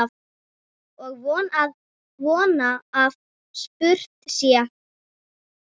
Og von að spurt sé.